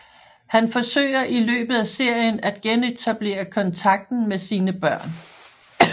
Han forsøger i løbet af serien at genetablere kontakten med sine børn